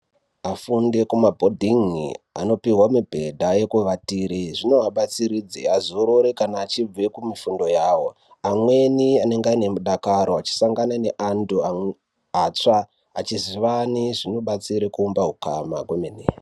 Afunde kumabhodhingi anopiwe mibhedha yekuvatire. Zvinovabatsiridze vazorore kana achibva kumifundo yawo. Amweni anenge aine mudakaro achisangana neandu atsva achizivane zvinobatsire kuumba ukama kwemene.